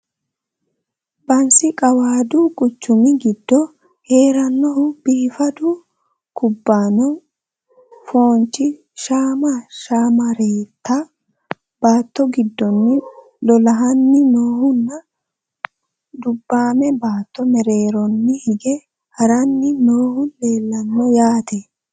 Bansi qawaadu quchummi giddo heeranohu biiffaddu kubbanno foonchchi shama shammaareetta baatto gidoonni lolahanni noohu nna dubbaamme baatto mereerroni hige haranni noohu leelanno yaatte